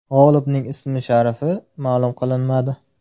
G‘olibning ismi-sharifi ma’lum qilinmadi.